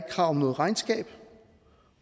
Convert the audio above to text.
krav om noget regnskab